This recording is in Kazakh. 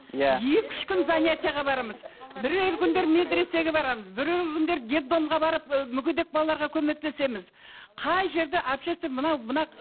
иә екі үш күн занятиеге барамыз бірер күндер медресеге барамыз бірер күндер детдомға барып ы мүгедек балаларға көмектесеміз қай жерде общественный мынау мына